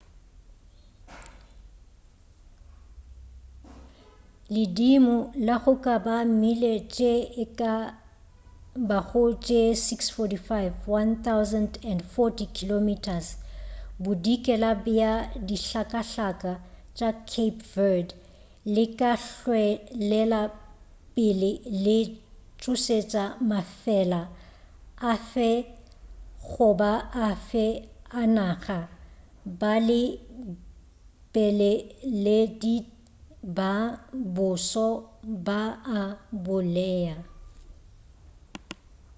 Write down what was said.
ledimo la goba di mille tše e ka bago tše 645 1040 km bodikela bja dihlakahlaka tša cape verde le ka hwelela pele le tšhošetša mafela afe goba afe a naga balebeleledi ba boso ba a bolea